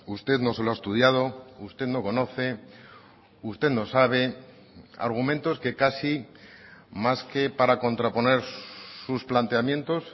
usted no se lo ha estudiado usted no conoce usted no sabe argumentos que casi más que para contraponer sus planteamientos